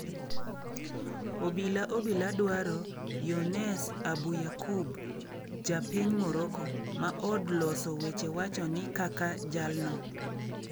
Obila obila dwaro Younes Abouyaaqoub, ja piny Morocco, ma od loso weche wacho ni kaka jalno.